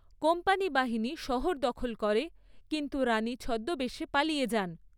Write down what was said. Company বাহিনী শহর দখল করে, কিন্তু রানী ছদ্মবেশে পালিয়ে যান।